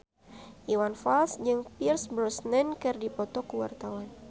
Iwan Fals jeung Pierce Brosnan keur dipoto ku wartawan